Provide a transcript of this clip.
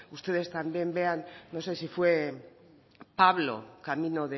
ustedes también vean no sé si fue pablo camino